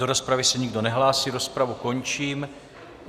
Do rozpravy se nikdo nehlásí, rozpravu končím.